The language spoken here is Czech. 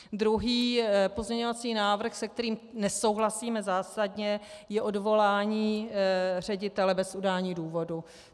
Druhý pozměňovací návrh, s kterým nesouhlasíme zásadně, je odvolání ředitele bez udání důvodu.